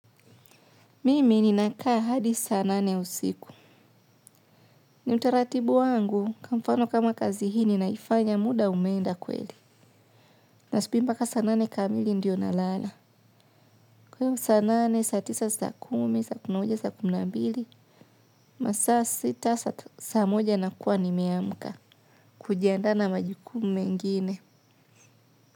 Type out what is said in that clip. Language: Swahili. Mimi ninakaa hadi saa nane usiku. Ni utaratibu wangu, kamfano kama kazi hii ni naifanya muda umeenda kweli. Na subimba ka saa nane kamili ndio na lala. Kwa iyo saa nane, saa tisa, saa kumi, saa kumuja, saa kumi na mbili. Masaa sita, saa moja nakuwa nimeamuka. Kujiandaa na majukumu mengine.